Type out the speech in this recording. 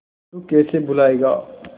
तू कैसे भूलाएगा